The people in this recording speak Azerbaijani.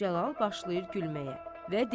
Cəlal başlayır gülməyə və deyir.